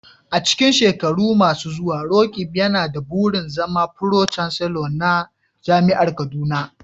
A cikin shekaru masu zuwa, Roqeeb yana da burin zama Pro-Chancellor na Jami'ar Kaduna.